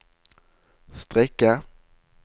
strikke